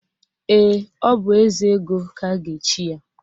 Ee, ọ bụ Ezego ka a ga-echi ya.